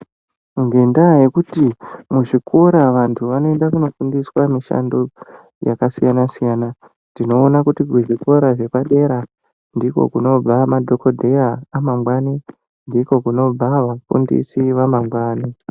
Nge ndaa yekuti muzvikora vandu vanoende kuno fundiswa mishando yaka siyana siyana tinooona kuti kuzvi kora zvapadera ndiko kunobva madhokoteya ama ngwani ndiko kunobva vafundisi vama ngwani .